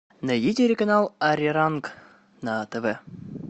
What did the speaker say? найди телеканал ариранг на тв